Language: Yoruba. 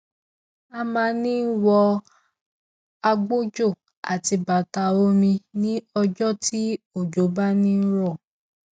ó máa ń wọ agbòjò àti bàtà omi ní ọjọ tí òjò bá ń rọ